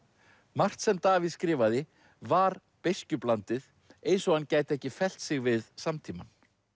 margt sem Davíð skrifaði var beiskjublandið eins og hann gæti ekki fellt sig við samtímann